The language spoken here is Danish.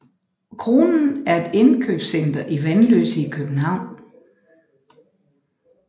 Kronen er et indkøbscenter i Vanløse i København